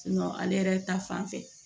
ale yɛrɛ ta fanfɛ